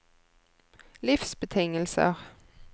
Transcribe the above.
livsbetingelser